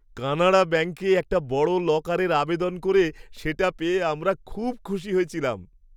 কানাড়া ব্যাঙ্কে একটা বড় লকারের আবেদন করে সেটা পেয়ে আমরা খুব খুশি হয়েছিলাম।